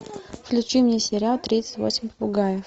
включи мне сериал тридцать восемь попугаев